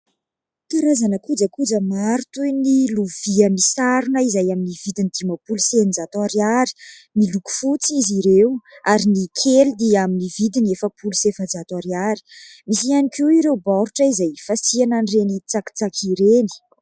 Karazanana kojakoja maro toy ny lovia misarona izay amin'ny vidiny dimampolo sy eninjato ariary. Miloko fotsy izy ireo ary ny kely dia amin'ny vidiny efapolo sy efajato ariary. Misy ihany koa ireo baoritra izay fasiana an'ireny tsakitsaky ireny.